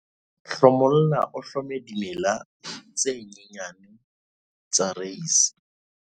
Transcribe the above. hlomolla o hlome dimela tse nyenyane tsa reise